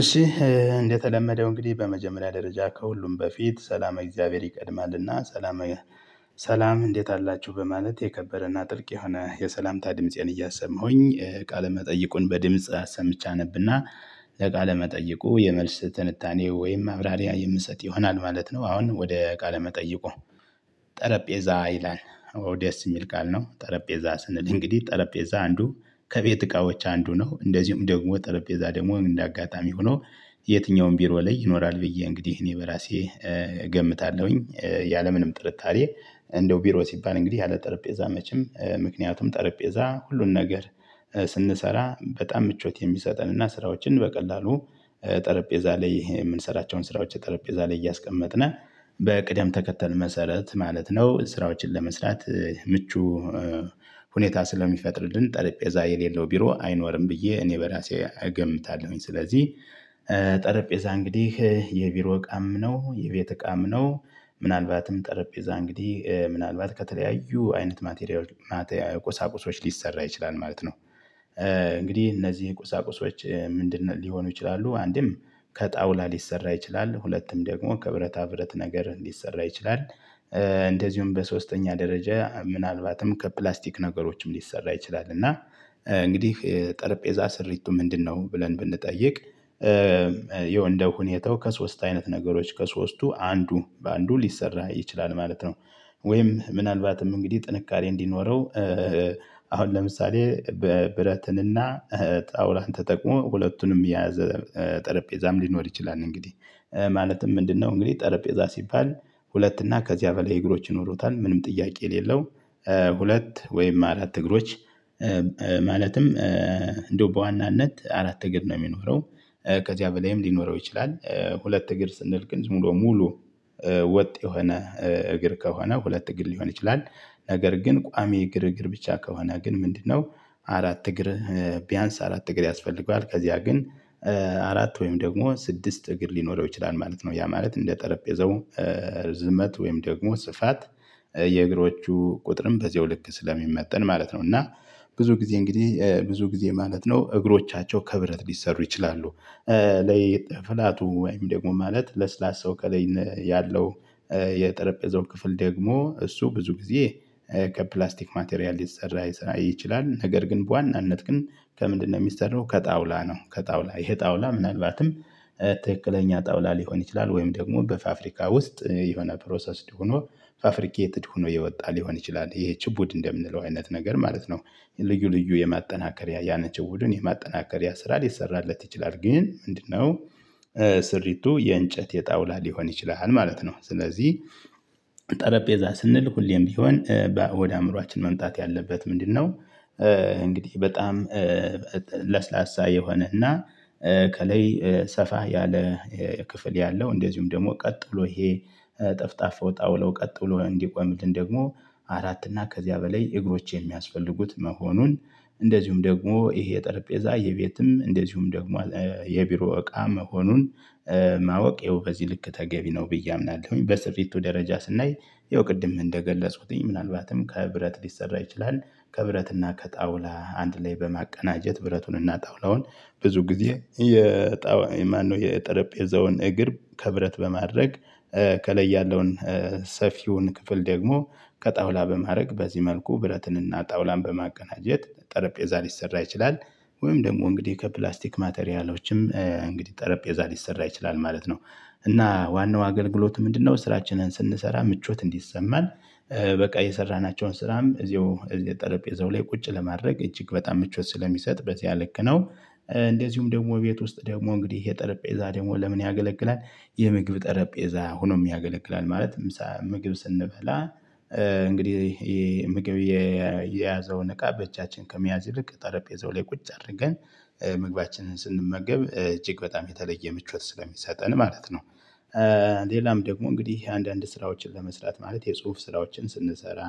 እሺ እንደተለመደው እንግዲህ በመጀመሪያ ደረጃ ከሁሉም በፊት ሰላመ እግዚአብሔር ይቀድማልና ሰላመ ሰላም እንዴት አላችሁ በማለት የከበረና ጥልቅ የሆነ የሰላምታ ድምፄን እያሰማሁኝ ቃለመጠይቁን በድምጽ አሰምቼ አነብና። ለቃለ መጠየቁ የመልስ ትንታኔ ወይም አብራሪያ የምሰጥ ይሆናል ማለት ነው። አሁን ወደ ቃለ መጠይቁ? ጠረጴዛ ይላል ኦ ደስ የሚል ቃል ነው። ጠረጴዛ ስንል እንግዲህ ጠረጴዛ አንዱ ከቤት እቃዎች አንዱ ነው እንደዚሁም ደግሞ ጠረጴዛ ደግሞ እንደ አጋጣሚ ሆኖ። የትኛውም ቢሮ ላይ ይኖራል ብዬ እንግዲህ እኔ በራሴ እገምታለሁኝ። ያለምንም ጥርጣሬ እንደው ቢሮ ሲባል እንግዲህ ያለ ጠረጴዛ መቼም ምክንያቱም ጠረጴዛ ሁሉን ነገር። ስንሰራ በጣም ምቾት የሚሰጠን እና ስራዎችን በቀላሉ ጠረጴዛ ላይ የምንሰራቸውን ስራዎች ጠረጴዛ ላይ እያስቀመጥን በቅደም ተከተል መሰረት ማለት ነው። ስራዎችን ለመስራት ምቹ ሁኔታ ስለሚፈጥርልን ጠረጴዛ የሌለው ቢሮ አይኖርም። ብዬ እኔ በራሴ አገምታለሁኝ ስለዚህ። እንግዲህ የቢሮ እቃም ነው የቤት እቃም ነው። ምናልባትም ጠረጴዛ እንግዲህ ምናልባት ከተለያዩ አይነት ማቴሪያል ማቴሪያል ቁሳቁሶች ሊሰራ ይችላል ማለት ነው። እንግዲህ እነዚህ ቁሳቁሶች ምንድነው? ሊሆኑ ይችላሉ አንድም ከጣውላ ሊሰራ ይችላል ሁለቱም ደግሞ ከብረታ ብረት ነገር እንዲሰራ ይችላል። እንደዚሁም በሶስተኛ ደረጃ ምናልባትም ከፕላስቲክ ነገሮችም ሊሰራ ይችላል። እና እንግዲህ ጠረጴዛ ስሪቱ ምንድነው? ብለን ብንጠይቅ ያው እንደ ሁኔታው ከሶስት አይነት ነገሮች ከሶስቱ አንዱ በአንዱ ሊሰራ ይችላል ማለት ነው። ወይም ምናልባትም እንግዲህ ጥንካሬ እንዲኖረው አሁን ለምሳሌ ብረትንና ጣውላን ተጠቅሞ ሁለቱንም የያዘ ጠረጴዛም ሊኖር ይችላል። እንግዲህ ማለትም ምንድነው? እንግዲህ ጠረጴዛ ሲባል ሁለት እና ከዚያ በላይ እግሮች ይኖሩታል ምንም ጥያቄ የሌለው። ሁለት ወይም አራት እግሮች ማለትም እንደው በዋናነት አራት እግር ነው የሚኖረው። ከዚያ በላይም ሊኖረው ይችላል። ሁለት እግር ስንል ግን ሙሉ ሙሉ ወጥ የሆነ እግር ከሆነ ሁለት እግር ሊሆን ይችላል። ነገር ግን ቋሚ እግር እግር ብቻ ከሆነ ግን ምንድነው? አራት እግር። ቢያንስ አራት እግር ያስፈልገዋል። ከዚያ ግን አራት ወይም ደግሞ ስድስት እግር ሊኖረው ይችላል ማለት ነው። ያ ማለት እንደ ጠረጴዛው ርዝመት ወይም ደግሞ ስፋት የእግሮቹ ቁጥርም በዚያው ልክ ስለሚመጠን ማለት ነው። እና ብዙ ጊዜ እንግዲህ ብዙ ጊዜ ማለት ነው እግሮቻቸው ከብረት ሊሰሩ ይችላሉ። ላይ ፍላቱ ወይም ደግሞ ማለት ለስላሳው ከላይ ያለው የጠረጴዛው ክፍል ደግሞ እሱ ብዙ ጊዜ ከፕላስቲክ ማቴሪያል ሊሰራ ይችላል። ነገር ግን በዋናነት ግን ከምንድነው የሚሰራው ከጣውላ ነው። ከጣውላ ይሄ ጣውላ ምናልባትም ትክክለኛ ጣውላ ሊሆን ይችላል። ወይም ደግሞ በፋፍሪካ ውስጥ የሆነ ፕሮሰስድ ሆኖ ፋፍሪኬትድ ሆኖ የወጣ ሊሆን ይችላል ይሄ ችፑድ እንደምንለው አይነት ነገር ማለት ነው። ልዩ ልዩ የማጠናከሪያ ያንን ችፑዱን የማጠናከሪያ ስራ ሊሰራለት ይችላል ግን ምንድነው? ስሪቱ የእንጨት የጣውላ ሊሆን ይችላል ማለት ነው። ስለዚህ ጠረጴዛ ስንል ሁሌም ቢሆን ወደ አእምሮአችን መምጣት ያለበት ምንድነው? እንግዲህ በጣም ለስላሳ የሆነና ከላይ ሰፋ ያለ ክፍል ያለው እንደዚሁም ደግሞ ቀጥ ብሎ ይሄ ጠፍጣፋው ጣውላው ቀጥሎ እንዲቆምልን ደግሞ አራት እና ከዚያ በላይ እግሮቼን የሚያስፈልጉት መሆኑን። እንደዚሁም ደግሞ ይሄ ጠረጴዛ የቤትም እንደዚሁም ደግሞ የቢሮ እቃ መሆኑን ማወቅ ይሄው በዚህ ልክ ተገቢ ነው ብዬ አምናለሁኝ። በስሪቱ ደረጃ ስናይ ያው ቅድም እንደገለጽኩትኝ ምናልባትም ከብረት ሊሰራ ይችላል። ከብረትና ከጣውላ አንድ ላይ በማቀናጀት ብረቱንና ጣውላውን ብዙ ጊዜ የማነው የጠረጴዛውን እግር ከብረት በማድረግ ከላይ ያለውን ሰፊውን ክፍል ደግሞ ከጣውላ በማድረግ በዚህ መልኩ ብረትንና ጣውላን በማቀናጀት ጠረጴዛ ሊሰራ ይችላል። ወይም ደግሞ እንግዲህ ከፕላስቲክ ማቴሪያሎችም እንግዲህ ጠረጴዛ ሊሰራ ይችላል ማለት ነው። እና ዋናው አገልግሎቱ ምንድነው? ስራችንን ስንሰራ ምቾት እንዲሰማን በቃ የሰራናቸውን ስራም እዚሁ እዚህ ጠረጴዛው ላይ ቁጭ ለማድረግ እጅግ በጣም ምቾት ስለሚሰጥ በዚያ ልክ ነው። እንደዚሁም ደግሞ ቤት ውስጥ ደግሞ እንግዲህ ጠረጴዛ ደግሞ ለምን ያገለግላል? የምግብ ጠረጴዛ ሆኖም ያገለግላል ማለት ምሳ ምግብ ስንበላ እንግዲህ ይህ ምግብ የያዘውን እቃ በእጃችን ከሚያዝ ይልቅ ጠረጴዛው ላይ ቁጭ አድርገን መግባችንን ስንመገብ እጅግ በጣም የተለየ ምቾት ስለሚሰጠን ማለት ነው። ሌላም ደግሞ እንግዲህ አንዳንድ ስራዎችን ለመስራት ማለት የጽሁፍ ስራዎችን ስንሰራ